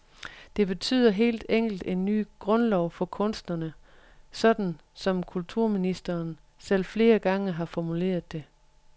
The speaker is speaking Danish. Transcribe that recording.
Det betyder helt enkelt en ny grundlov for kunstnerne, sådan som kulturministeren selv flere gange har formuleret det.